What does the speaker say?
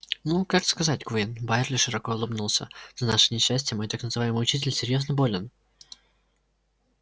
ну как сказать куинн байерли широко улыбнулся на наше несчастье мой так называемый учитель серьёзно болен